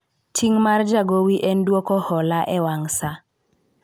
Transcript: ting' mar jagowi en dwoko hola e wang saa